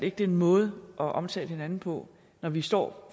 ikke det er en måde at omtale hinanden på når vi står